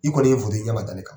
I kɔni ye ye i ɲa ma da ne kan .